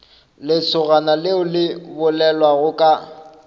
lesogana leo le bolelago ka